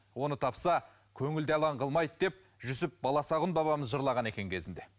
оны тапса көңіл де алаң қылмайды деп жүсіп баласұғын бабамыз жырлаған екен кезінде